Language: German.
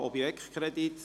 Es ist ein Objektkredit.